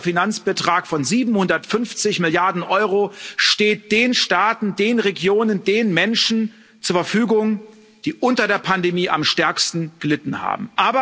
Ein großer Finanzbetrag von 750 Milliarden Euro steht den Staaten, den Regionen, den Menschen zur Verfügung, die unter der Pandemie am stärksten gelitten haben.